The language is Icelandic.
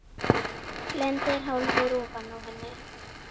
Lendir hálfur ofan á henni.